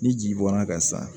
Ni ji bɔra ka sa